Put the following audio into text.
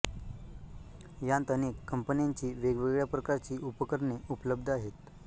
यांत अनेक कंपन्यांची वेगवेगळ्या प्रकारची उपकरणे उपल्ब्ध आहेत